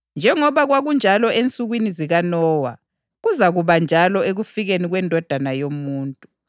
Njengoba kwakunjalo ensukwini zikaNowa, kuzakuba njalo ekufikeni kweNdodana yoMuntu.